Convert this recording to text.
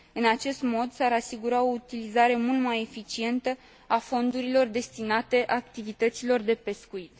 În acest mod, s ar asigura o utilizare mult mai eficientă a fondurilor destinate activităților de pescuit.